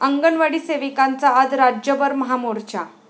अंगणवाडी सेविकांचा आज राज्यभर महामोर्चा